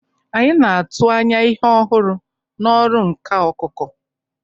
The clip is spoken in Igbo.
Anyị na-atụ anya ihe ọhụrụ n'ọrụ nka okoko.